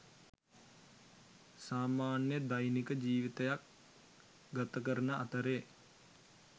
සාමාන්‍ය දෛනික ජීවිතයක් ගතකරන අතරේ